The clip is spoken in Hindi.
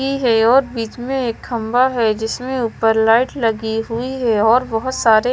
है और बीच में एक खंबा है जिसमें ऊपर लाइट लगी हुई है और बहुत सारे --